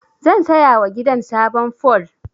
Zan sayawa gidan sabon fol.